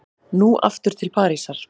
Nú aftur til Parísar.